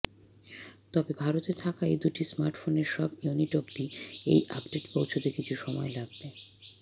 তবে ভারতে থাকা এই দুটি স্মার্টফোনের সব ইউনিট অব্দি এই আপডেট পৌছাতে কিছু সময় লাগবে